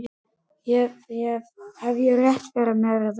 Hef ég rétt fyrir mér, eða hvað?